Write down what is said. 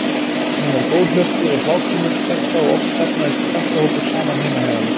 Hún var góðhjörtuð og hláturmild stelpa og oft safnaðist krakkahópur saman heima hjá henni.